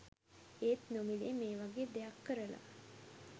ඒත් නොමිලේ මේවගේ දෙයක් කරල